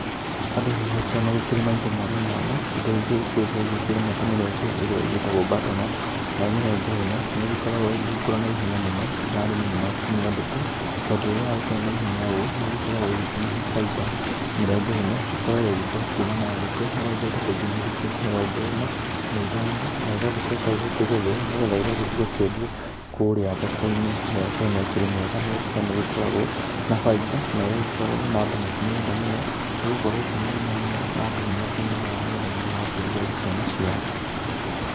Andũ nĩ magĩkoragwo magĩkĩrĩma indo mwanya mwanya indo iria igĩkoragwo igĩkĩrĩmwo ta mĩrege ĩrĩa ĩtagwo Butter Nut ,nayo mĩrenge ĩno nĩ ĩgĩkoragwo ĩgĩgĩkũra na ihenya mũno na arĩmi nĩ makĩmĩendete tondũ rĩrĩa yagĩkũra naihenya ũũ nĩ ĩgĩkoragwo ĩkĩmahe baita mĩrenge ĩno ĩkoragwo ĩgĩkũra kũma na thikũ mĩrongo itatũ nginya thikũ mĩrongo ĩna na ithano na ĩgagĩcoka ĩgakĩgethwo nĩgetha ĩgagĩthiĩ kwendio kũrĩa thoko-inĩ, mĩrenge ĩno ĩkĩrĩ mĩega nĩ gũkorwo nĩ ĩgĩkoragwo na baita na ĩgagĩkorwo andũ makĩmĩenda mũno nĩgũkorwo ti mĩnene mũno na andũ nĩ makĩmĩgũraga nĩgetha mathiĩ makarugĩre ciana ciao.